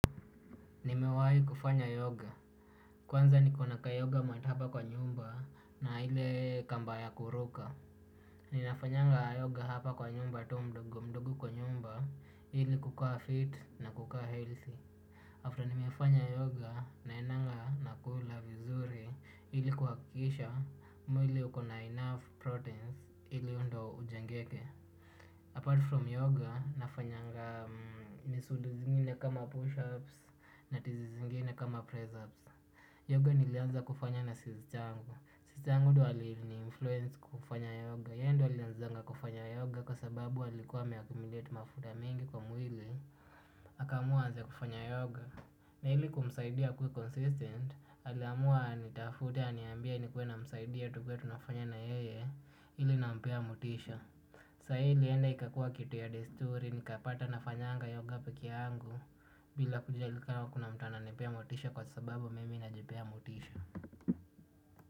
Nimewai kufanya yoga. Kwanza niko na kayoga mat hapa kwa nyumba na ile kamba ya kuruka. Ninafanyanga yoga hapa kwa nyumba tu mdogo mdogo kwa nyumba ili kukaa fit na kukaa healthy. After nimefanya yoga naendanga nakula vizuri ili kuhakikisha mwili uko na enough proteins hivyo ndo ujengeke Apart from yoga, nafanyanga nisudu zingine kama push-ups na tizi zingine kama press-ups. Yoga nilianza kufanya na sister yangu. Sister yangu ndo aliniinfluence kufanya yoga. Yeye ndo alianzanga kufanya yoga kwa sababu alikuwa ameaccumulate mafuta mingi kwa mwili. Akaamua aanza kufanya yoga. Na ili kumsaidia akuwe consistent, aliamua anitafute aniambie nikuwe namsaidia tukuwe tunafanya na yeye ili nampea motisha. Sahi lienda ikakuwa kitu ya desturi ni kapata nafanyanga yoga peke yangu. Bila kujali ka kuna mtu ananipea motisha kwa sababu mimi najipea motisha.